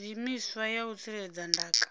zwiimiswa ya u tsireledza ndaka